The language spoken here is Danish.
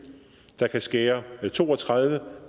der kan skære to og tredive